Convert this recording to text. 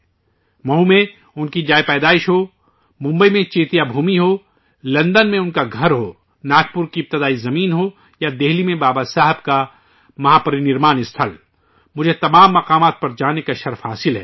مہو میں ان کی پیدائش کا مقام ہو، ممبئی میں چیتیا بھومی ہو، لندن میں ان کا گھر ہو، ناگپور کی ابتدائی سرزمین ہو، یا دلّی میں بابا صاحب کا مہا پری نروان اِستھل ، مجھے سبھی مقامات پر ، سبھی تیرتھوں پر جانے کا موقع ملا ہے